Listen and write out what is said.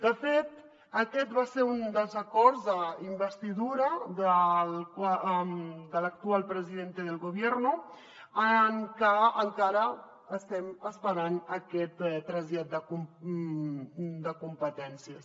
de fet aquest va ser un dels acords d’investidura de l’actual presidente del gobierno del qual encara estem esperant aquest trasllat de competències